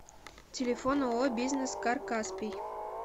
телефон ооо бизнес кар каспий